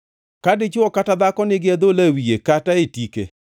Ka dichwo kata dhako nigi adhola e wiye kata e tike,